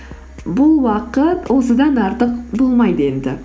бұл уақыт осыдан артық болмайды енді